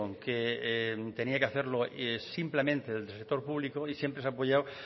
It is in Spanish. que tenía que hacerlo simplemente desde el sector público y siempre se ha apoyado